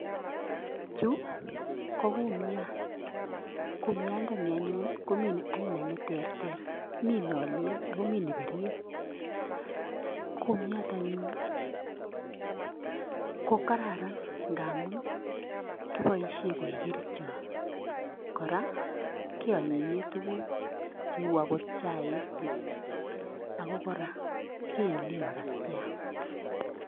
Chu ko kumiat, kumiandani anyun ko mi aina Che teeter, mi ne leel akomii ne birir. Kumiat anyun ko kararan ngamun kiboishien koik kerichot, kora kionyinyee tuguuk cheu okot chaik, ako kora kiilen makatiat.